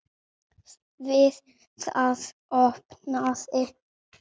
Við það opnaði